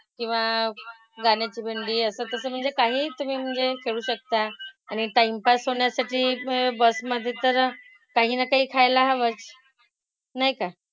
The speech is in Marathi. किंवा गाण्याची भेंडी असं तसं म्हणजे काहीही तुम्ही म्हणजे खेळू शकता. आणि टाईमपास होण्यासाठी म्हणजे बस मधे तर काही ना काही खायला हवंच. नाही का?